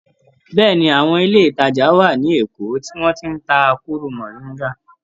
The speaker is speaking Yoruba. Bẹ́ẹ̀ni. Àwọn ilé-ìtàjà wà ní Èkó tí wọ́n ti ń ta kóró mọ̀ríńgà.